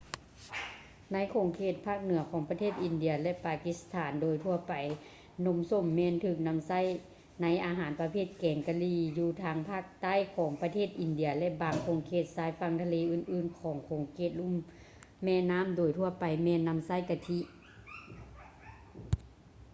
ໃນຂົງເຂດພາກເໜືອຂອງປະເທດອິນເດຍ ແລະ ປາກິສຖານ ໂດຍທົ່ວໄປນົມສົ້ມແມ່ນຖືກນຳໃຊ້ໃນອາຫານປະເພດແກງກະຫຼີ່ ຢູ່ທາງພາກໃຕ້ຂອງປະເທດອິນເດຍ ແລະ ບາງຂົງເຂດຊາຍຝັ່ງທະເລອື່ນໆຂອງຂົງເຂດລຸ່ມແມ່ນໍ້າໂດຍທົ່ວໄປແມ່ນນໍາໃຊ້ກະທິ